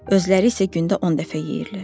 Özləri isə gündə 10 dəfə yeyirlər.